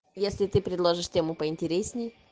если ты предложишь тему поинтересней